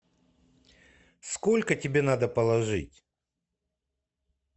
сколько тебе надо положить